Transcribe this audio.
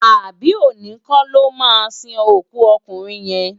Abi óni kò lò má sin ókú òkúnrin yén?